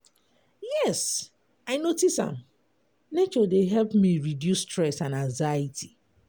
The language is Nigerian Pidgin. yes, i notice am, nature dey help me reduce stress and anxiety.